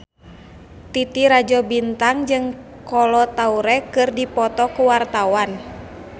Titi Rajo Bintang jeung Kolo Taure keur dipoto ku wartawan